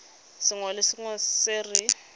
sengwe le sengwe se re